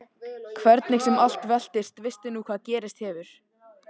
Hvernig sem allt veltist veistu nú hvað gerst hefur.